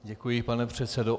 Děkuji, pane předsedo.